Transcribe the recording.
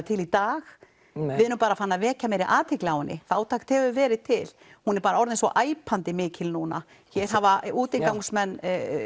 til í dag við erum bara farin að vekja meiri athygli á henni fátækt hefur verið til hún er bara orðið svo æpandi mikil núna hér hafa útigangsmenn